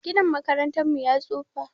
Ginin makarantar mu ya tsufa